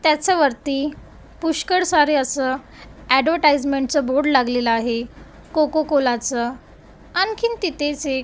त्याचा वरती पुष्कळ सारे असं ॲडवटाईजमेंट बोर्ड लागलेला आहे कोको कोलाचं. आणखीन तिथेच एक--